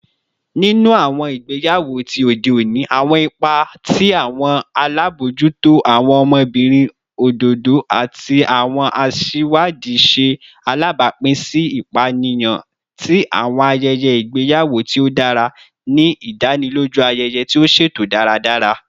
Ninu awọn igbeyawo ti ode oni, awọn ipa ti awọn alabojuto, awọn ọmọbirin ododo, ati awọn aṣiwadi ṣe alabapin si ipaniyan ti awọn ayẹyẹ igbeyawo ti o dara, ni idaniloju ayẹyẹ ti o ṣeto daradara.